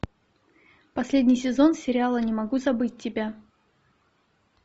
последний сезон сериала не могу забыть тебя